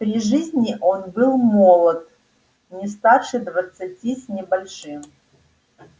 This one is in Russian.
при жизни он был молод не старше двадцати с небольшим